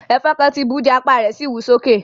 Ẹfọn kàn ti bú ù jẹ́, apa rẹ si wú soke.